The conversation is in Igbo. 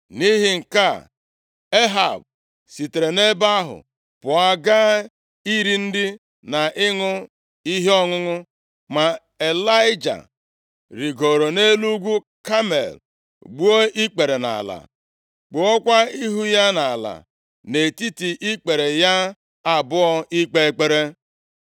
Nʼihi nke a, Ehab sitere nʼebe ahụ pụọ gaa iri nri na ịṅụ ihe ọṅụṅụ ma Ịlaịja rigooro nʼelu ugwu Kamel gbuo ikpere nʼala, kpuokwa ihu ya nʼala nʼetiti ikpere ya abụọ ikpe ekpere.